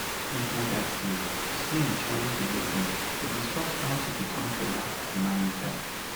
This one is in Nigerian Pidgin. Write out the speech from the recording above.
later dat year stein travel to lagos to discuss how to become fela comanager